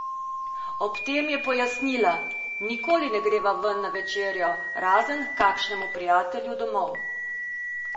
Ob tem je pojasnila: "Nikoli ne greva ven na večerjo, razen h kakšnemu prijatelju domov.